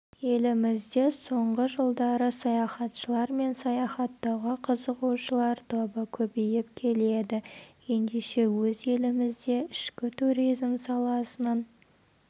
елімізде соңғы жылдары саяхатшылар мен саяхаттауға қызығушылар тобы көбейіп келеді ендеше өз елімізде ішкі туризм саласының